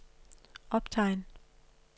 optegn